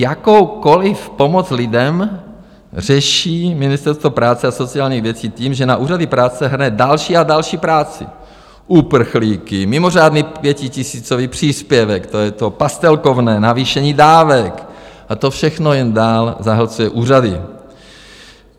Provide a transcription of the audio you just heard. Jakoukoli pomoc lidem řeší Ministerstvo práce a sociálních věcí tím, že na úřady práce hrne další a další práci - uprchlíky, mimořádný pětitisícový příspěvek, to je to pastelkovné, navýšení dávek, a to všechno jen dál zahlcuje úřady.